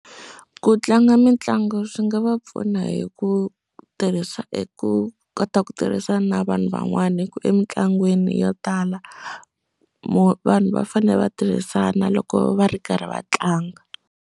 Ku tlanga mitlangu swi nga va pfuna hi ku tirhisa eku kota ku tirhisa na vanhu van'wana hi ku emitlangwini yo tala vo vanhu va fanele va tirhisana loko va ri karhi va tlanga.